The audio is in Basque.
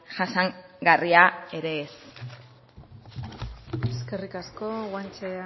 jasangarria ere ez eskerrik asko guanche